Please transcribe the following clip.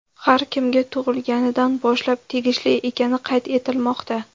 har kimga tug‘ilganidan boshlab tegishli ekani qayd etilmoqda.